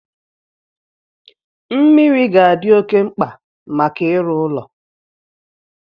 Mmiri ga-adị oké mkpa maka ịrụ ụlọ